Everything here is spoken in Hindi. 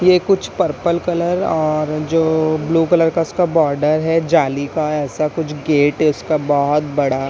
ये कुछ पर्पल कलर और जो ब्लू कलर का इसका बॉर्डर है जाली का ऐसा कुछ गेट है इसका बहुत बड़ा--